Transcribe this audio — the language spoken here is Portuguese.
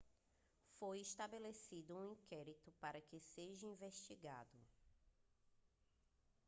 foi estabelecido um inquérito para que seja investigado